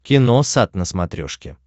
киносат на смотрешке